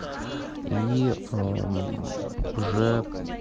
и ээ уже